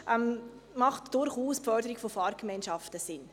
Dort macht die Förderung von Fahrgemeinschaften durchaus Sinn.